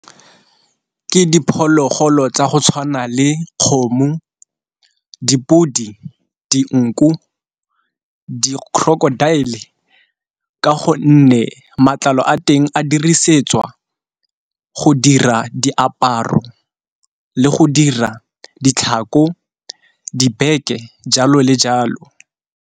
Ke diphologolo tsa go tshwana le kgomo, dipodi, dinku, di-crocodile ka gonne matlalo a teng a dirisetswa go dira diaparo le go dira ditlhako, dibeke, jalo le jalo